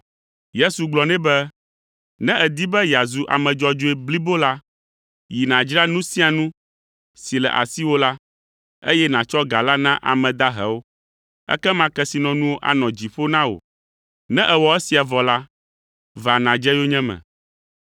Yesu gblɔ nɛ be, “Ne èdi be yeazu ame dzɔdzɔe blibo la, yi nàdzra nu sia nu si le asiwò la, eye nàtsɔ ga la na ame dahewo, ekema kesinɔnuwo anɔ dziƒo na wò. Ne èwɔ esia vɔ la, va nàdze yonyeme.”